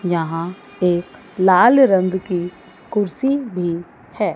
यहां एक लाल रंग की कुर्सी भी है।